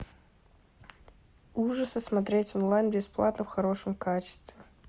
ужасы смотреть онлайн бесплатно в хорошем качестве